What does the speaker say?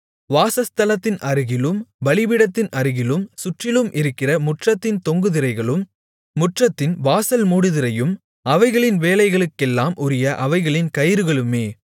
வாசஸ்தலத்தின் அருகிலும் பலிபீடத்தின் அருகிலும் சுற்றிலும் இருக்கிற முற்றத்தின் தொங்கு திரைகளும் முற்றத்தின்வாசல் மூடுதிரையும் அவைகளின் வேலைகளுக்கெல்லாம் உரிய அவைகளின் கயிறுகளுமே